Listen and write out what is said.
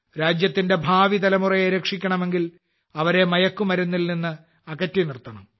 രാജ്യത്തിന്റെ ഭാവിതലമുറയെ രക്ഷിക്കണമെങ്കിൽ അവരെ മയക്കുമരുന്നിൽ നിന്ന് അകറ്റി നിർത്തണം